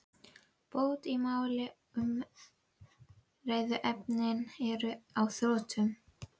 Bót í máli að umræðuefnin eru á þrotum.